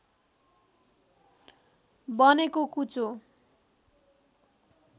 बनेको कुचो